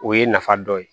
O ye nafa dɔ ye